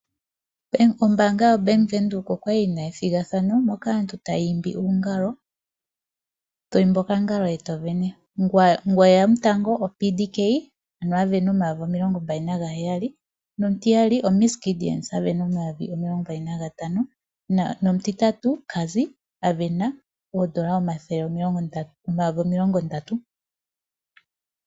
Ombaanga yoBank Windhoek okwali yina ethigathano moka aantu taya imbi uungalo to imbi okangalo eto sindana. Ngono eya tango oPDK ano sindana omayovi omilongo heyali nomutiyali oMs Gideon asindana omayovi omilongo ntano nomutitatu oCazzy asindana oodola omayovi omilongo ndatu.